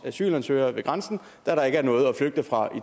asylansøgere ved grænsen da der ikke er noget at flygte fra